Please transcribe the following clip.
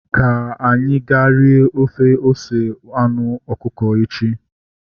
Ka anyị ga rie ofe ose anụ ọkụkọ echi